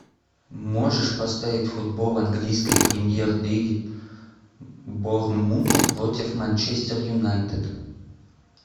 можешь поставить футбол английской премьер лиги борнмута против манчестер юнайтед